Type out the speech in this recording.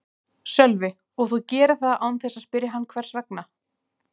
Sölvi: Og þú gerir það án þess að spyrja hann hvers vegna?